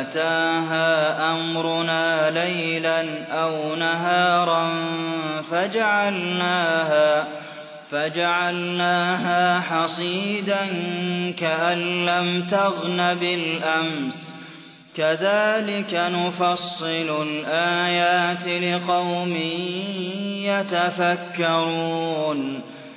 أَتَاهَا أَمْرُنَا لَيْلًا أَوْ نَهَارًا فَجَعَلْنَاهَا حَصِيدًا كَأَن لَّمْ تَغْنَ بِالْأَمْسِ ۚ كَذَٰلِكَ نُفَصِّلُ الْآيَاتِ لِقَوْمٍ يَتَفَكَّرُونَ